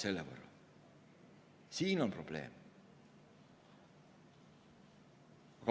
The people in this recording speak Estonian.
Selles on probleem.